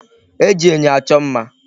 E ji enyo achọ mma.